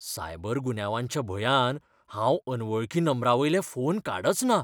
Cyber गुन्यांवाच्या भंयान हांव अनवळखी नंबरांवयले फोन काडचना.